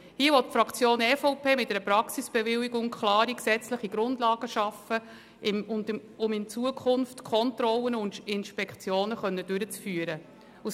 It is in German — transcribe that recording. Hier will die Fraktion EVP mit einer Praxisbewilligung klare gesetzliche Grundlagen schaffen, um künftig Kontrollen und Inspektionen durchführen zu können.